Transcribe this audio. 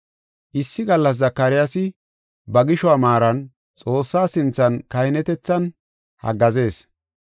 Issi gallas Zakaryaasi ba gishuwa maaran Xoossaa sinthan kahinetethan haggaazees.